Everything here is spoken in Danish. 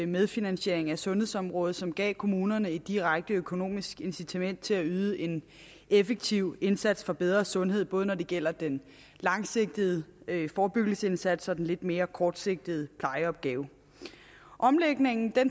medfinansiering af sundhedsområdet som dermed gav kommunerne et direkte økonomisk incitament til at yde en effektiv indsats for bedre sundhed både når det gælder den langsigtede forebyggelsindsats og gælder den lidt mere kortsigtede plejeopgave omlægningen